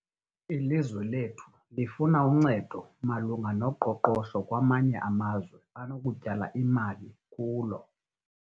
Ilizwe lethu lifuna uncedo malunga noqoqosho kwamanye amazwe anokutyala imali kulo.